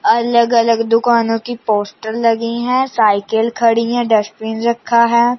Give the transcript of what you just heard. अलग अलग दुकानों की पोस्टर लगी हैं साइकिल खड़ी है डस्टबिन रखा है।